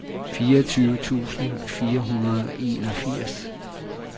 fireogtyve tusind fire hundrede og enogfirs